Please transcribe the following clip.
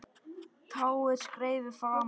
Tá er skeifu framan á.